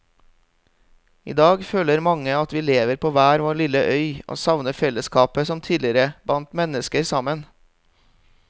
I dag føler mange at vi lever på hver vår lille øy og savner fellesskapet som tidligere bandt mennesker sammen.